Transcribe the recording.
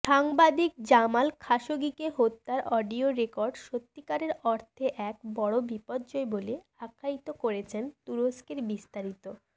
সাংবাদিক জামাল খাশোগিকে হত্যার অডিও রেকর্ড সত্যিকার অর্থে এক বড় বিপর্যয় বলে আখ্যায়িত করেছেন তুরস্কেরবিস্তারিত